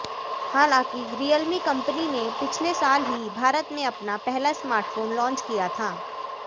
हालांकि रियलमी कंपनी ने पिछले साल ही भारत में अपना पहला स्मार्टफोन लॉन्च किया था